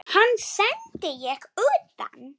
Hann sendi ég utan.